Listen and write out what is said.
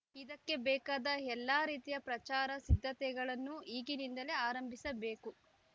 ಇದಕ್ಕೆ ಬೇಕಾದ ಎಲ್ಲ ರೀತಿಯ ಪ್ರಚಾರ ಸಿದ್ಧತೆಗಳನ್ನು ಈಗಿನಿಂದಲೇ ಆರಂಭಿಸಬೇಕು